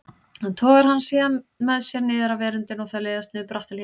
Hann togar hana síðan með sér niður af veröndinni og þau leiðast niður bratta hlíðina.